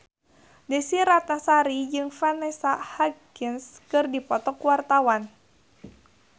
Desy Ratnasari jeung Vanessa Hudgens keur dipoto ku wartawan